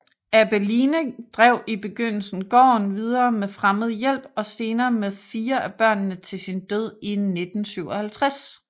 Abeline drev i begyndelsen gården videre med fremmed hjælp og senere med fire af børnene til sin død i 1957